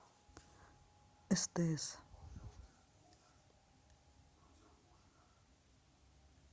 стс